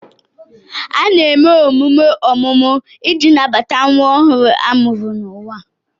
A na-eme emume ọmụmụ iji nabata nwa ọhụrụ a mụrụ n'ụwa.